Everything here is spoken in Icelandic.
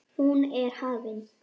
Hún er hafin.